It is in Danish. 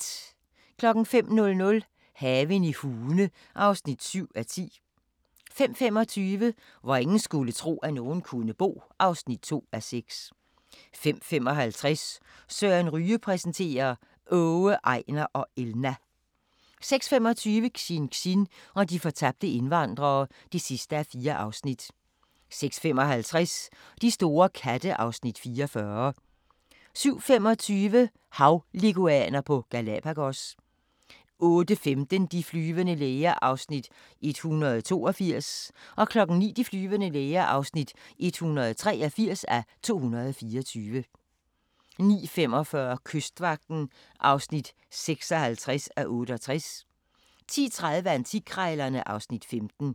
05:00: Haven i Hune (7:10) 05:25: Hvor ingen skulle tro, at nogen kunne bo (2:6) 05:55: Søren Ryge præsenterer: Åge, Ejnar og Elna 06:25: Xinxin og de fortabte indvandrere (4:4) 06:55: De store katte (Afs. 44) 07:25: Havleguaner på Galapagos 08:15: De flyvende læger (182:224) 09:00: De flyvende læger (183:224) 09:45: Kystvagten (56:68) 10:30: Antikkrejlerne (Afs. 15)